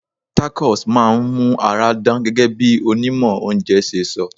Tacos máa ń mú ara dán gẹ́gẹ́ bí onímọ̀ oúnjẹ ṣe sọ.